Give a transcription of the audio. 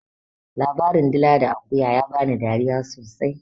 Labarin dila da akuya ya bani dariya sosai.